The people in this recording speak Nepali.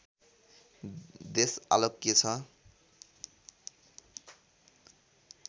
देश आलोक्य छ